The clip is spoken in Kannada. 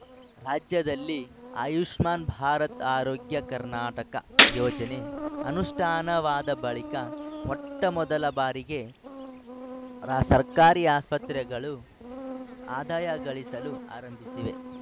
ರಾಜ್ಯದಲ್ಲಿ ಆಯುಷ್ಮಾನ್‌ ಭಾರತಆರೋಗ್ಯ ಕರ್ನಾಟಕಯೋಜನೆ ಅನುಷ್ಠಾನವಾದ ಬಳಿಕ ಮೊಟ್ಟಮೊದಲ ಬಾರಿಗೆ ರ ಸರ್ಕಾರಿ ಆಸ್ಪತ್ರೆಗಳು ಆದಾಯ ಗಳಿಸಲು ಆರಂಭಿಸಿವೆ